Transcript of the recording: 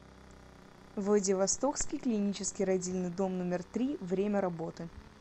владивостокский клинический родильный дом номер три время работы